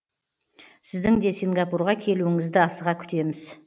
сіздің де сингапурға келуіңізді асыға күтеміз